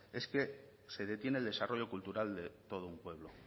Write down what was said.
es que se detiene el desarrollo cultural de todo un pueblo